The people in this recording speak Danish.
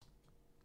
TV 2